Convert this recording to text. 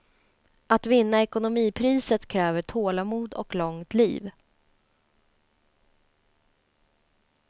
Att vinna ekonomipriset kräver tålamod och långt liv.